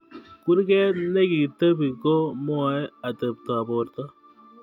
Kurget nekitebei ko mwae atebtob borto